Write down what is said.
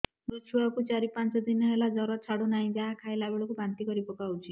ମୋ ଛୁଆ କୁ ଚାର ପାଞ୍ଚ ଦିନ ହେଲା ଜର ଛାଡୁ ନାହିଁ ଯାହା ଖାଇଲା ବେଳକୁ ବାନ୍ତି କରି ପକଉଛି